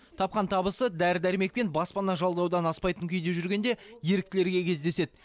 тапқан табысы дәрі дәрмек пен баспана жалдаудан аспайтын күйде жүргенде еріктілерге кездеседі